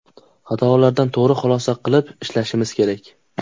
Xatolardan to‘g‘ri xulosa qilib ishlashimiz kerak.